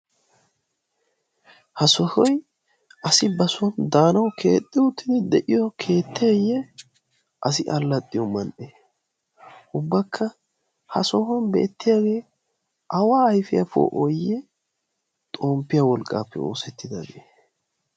Ha sohoy asi ba soon daanawu keexxi uttidi de'iyo keetteye? Asi alladhdhiyo man"e? Ubbakka ha sohuwan beettiyaage awa ayfiyaa poo'oyiyye xomppiya wolqqappe oosetidaabe?